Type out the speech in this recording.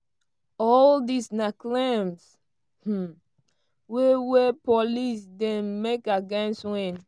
all dis na claims um wey wey police ddey make against wynne.